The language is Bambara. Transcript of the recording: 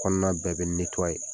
Kɔnɔna bɛɛ bɛ ye.